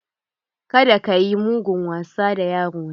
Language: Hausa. Kada kayi mugun wasa da yaro na!